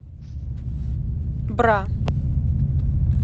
бра